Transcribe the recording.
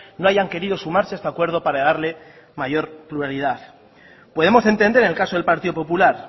no hayan querido sumarse a este acuerdo para darle mayor pluralidad podemos entender en el caso del partido popular